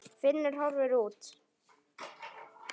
Finnur horfði út.